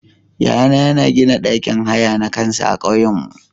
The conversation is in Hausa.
Yaya na yana gina ɗakin haya na kansa a ƙauyanmu.